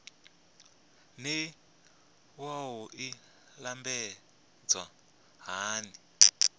naa wua i lambedzwa hani